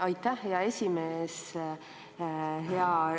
Aitäh, hea aseesimees!